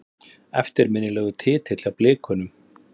Eftirminnilegur titill hjá Blikunum.